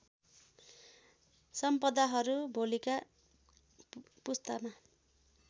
सम्पदाहरू भोलिका पुस्तामा